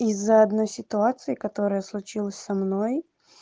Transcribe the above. из-за одной ситуации которая случилась со мной